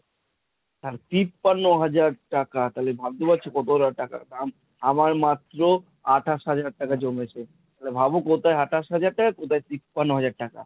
হা তিপান্ন হাজার টাকা। তালে ভাবতে পারছো কত হাজার টাকা? আমার মাত্র আঠাশ হাজার টাকা জমেছে। তালে ভাব কোথায় আঠাশ হাজার টাকা , কোথায় তিপান্ন হাজার টাকা।